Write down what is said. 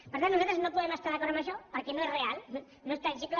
per tant nosaltres no podem estar d’acord en això perquè no és real no és tangible